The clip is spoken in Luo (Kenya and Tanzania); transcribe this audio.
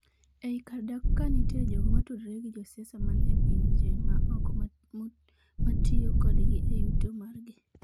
e I kar dak ka nitie jogo matudore gi josiasa man e pinje ma oko matiyo kodgi e yuto margi